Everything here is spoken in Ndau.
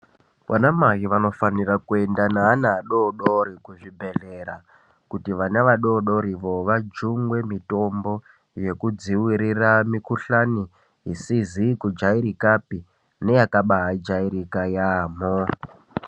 Vana mai vanofanira kuenda neana adodori kuzvibhedhlera kuti vana vadodori vo vajungwe mitombo yekudziwirira mikuhlane isizi kujairikapi neyakaba jairika yambo.